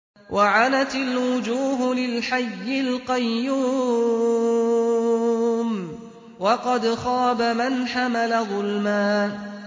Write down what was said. ۞ وَعَنَتِ الْوُجُوهُ لِلْحَيِّ الْقَيُّومِ ۖ وَقَدْ خَابَ مَنْ حَمَلَ ظُلْمًا